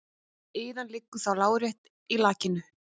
Iðan liggur þá lárétt í lakinu.